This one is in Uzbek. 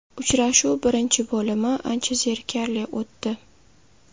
Uchrashuv birinchi bo‘limi ancha zerikarli o‘tdi.